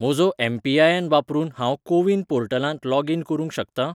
म्हजो एम.पी.आय.एन. वापरून हांव कोविन पोर्टलांत लॉगीन करूंक शकतां?